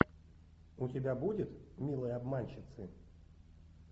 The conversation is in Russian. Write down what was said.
у тебя будет милые обманщицы